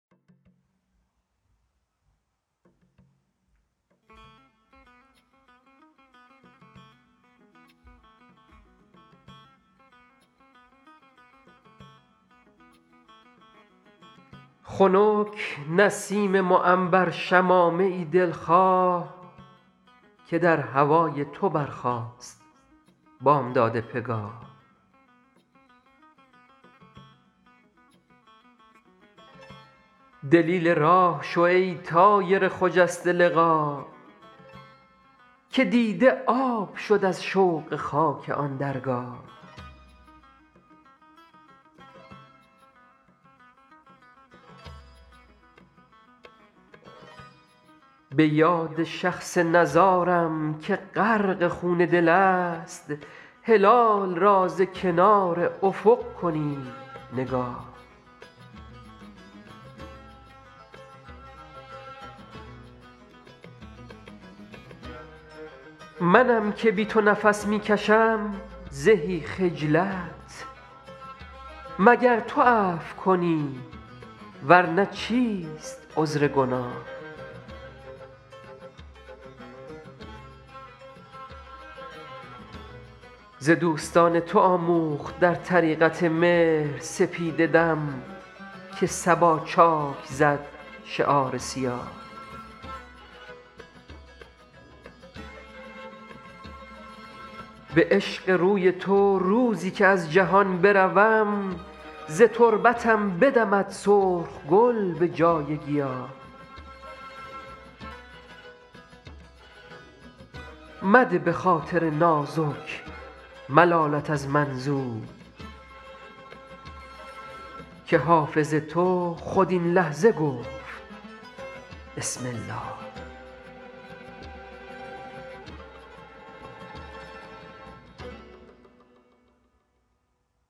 خنک نسیم معنبر شمامه ای دل خواه که در هوای تو برخاست بامداد پگاه دلیل راه شو ای طایر خجسته لقا که دیده آب شد از شوق خاک آن درگاه به یاد شخص نزارم که غرق خون دل است هلال را ز کنار افق کنید نگاه منم که بی تو نفس می کشم زهی خجلت مگر تو عفو کنی ور نه چیست عذر گناه ز دوستان تو آموخت در طریقت مهر سپیده دم که صبا چاک زد شعار سیاه به عشق روی تو روزی که از جهان بروم ز تربتم بدمد سرخ گل به جای گیاه مده به خاطر نازک ملالت از من زود که حافظ تو خود این لحظه گفت بسم الله